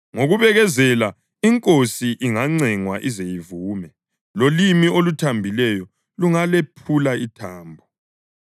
Ngokubekezela inkosi ingancengwa ize ivume, lolimi oluthambileyo lungalephula ithambo.